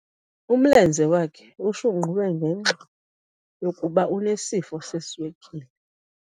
Umlenze wakhe ushunqulwe ngenxa yokuba enesifo seswekile.